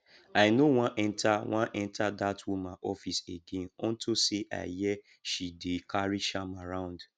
i no wan enter wan enter dat woman office again unto say i hear she dey carry charm around